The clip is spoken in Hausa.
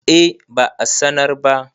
eh ba a sanar ba